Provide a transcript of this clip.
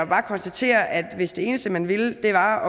bare konstatere at hvis det eneste man ville var